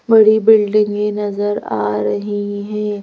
बड़ी बिल्डिंगें नजर आ रही हैं।